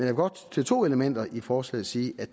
vil godt til to elementer i forslaget sige at